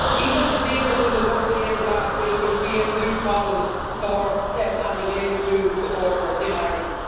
Even the deal that was negotiated last week will create new problems for and relating to the border in Ireland.